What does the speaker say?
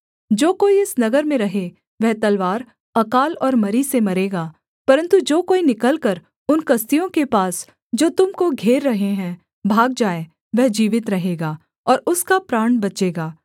जो कोई इस नगर में रहे वह तलवार अकाल और मरी से मरेगा परन्तु जो कोई निकलकर उन कसदियों के पास जो तुम को घेर रहे हैं भाग जाए वह जीवित रहेगा और उसका प्राण बचेगा